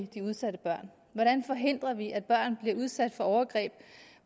de udsatte børn hvordan forhindrer vi at børn bliver udsat for overgreb